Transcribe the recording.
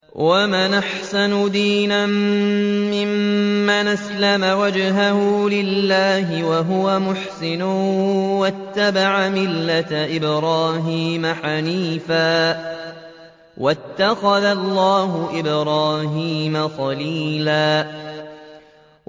وَمَنْ أَحْسَنُ دِينًا مِّمَّنْ أَسْلَمَ وَجْهَهُ لِلَّهِ وَهُوَ مُحْسِنٌ وَاتَّبَعَ مِلَّةَ إِبْرَاهِيمَ حَنِيفًا ۗ وَاتَّخَذَ اللَّهُ إِبْرَاهِيمَ خَلِيلًا